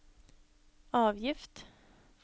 avgift